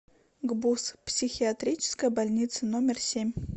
гбуз психиатрическая больница номер семь